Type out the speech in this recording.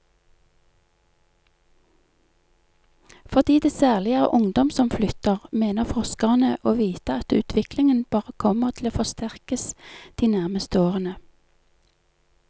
Fordi det særlig er ungdom som flytter, mener forskerne å vite at utviklingen bare kommer til å forsterkes de nærmeste årene.